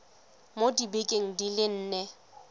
mo dibekeng di le nne